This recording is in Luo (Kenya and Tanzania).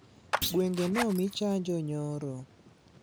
Gwenge nomii chanjo nyoro